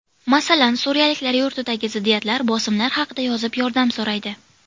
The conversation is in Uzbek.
Masalan, suriyaliklar yurtidagi ziddiyatlar, bosimlar haqida yozib, yordam so‘raydi.